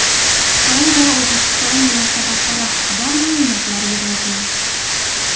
Xitoy va O‘zbekiston munosabatlari haqida ma’lumotlar yig‘yapman.